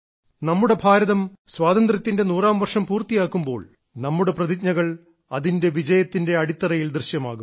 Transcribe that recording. നമ്മുടെ ഭാരതം സ്വാതന്ത്ര്യത്തിന്റെ നൂറാം വർഷം പൂർത്തിയാക്കുമ്പോൾ നമ്മുടെ പ്രതിജ്ഞകൾ അതിന്റെ വിജയത്തിന്റെ അടിത്തറയിൽ ദൃശ്യമാകും